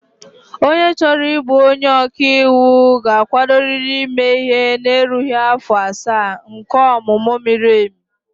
Onye chọrọ ịbụ onye ọka iwu ga-akwadorịrị ime ihe na-erughị afọ asaa nke ọmụmụ miri emi